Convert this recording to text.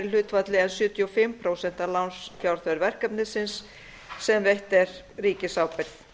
en sjötíu og fimm prósent af lánsfjárþörf verkefnisins sem veitt er ríkisábyrgð